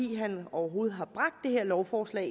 han overhovedet har bragt det her lovforslag